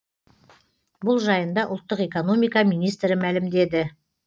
бұл жайында ұлттық экономика министрі мәлімдеді